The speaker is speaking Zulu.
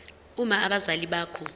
uma abazali bakho